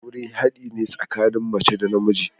Aure haɗi ne tsakanin mace da namiji.